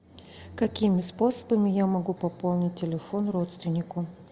какими способами я могу пополнить телефон родственнику